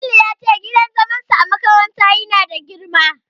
Jamilu ya ce gidan zaman su a cikin makarantar ya na da girma